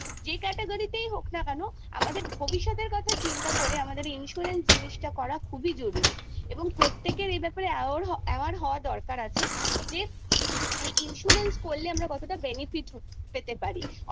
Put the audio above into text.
যেই category হোক না কেন আমাদের ভবিষ্যতের কথা চিন্তা করে আমাদের insurance জিনিসটা করা খুবই জরুরি এবং প্রত্যেকের aware হওয়ার দরকার আছে যে insurance করলে আমরা কতটা benefit পেতে পারি